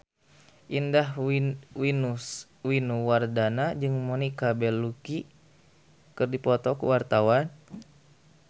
Indah Wisnuwardana jeung Monica Belluci keur dipoto ku wartawan